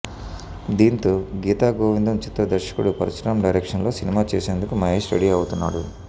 దీంతో గీతాగోవిందం చిత్ర దర్శకుడు పరశురామ్ డైరెక్షన్లో సినిమా చేసేందుకు మహేష్ రెడీ అవుతున్నాడు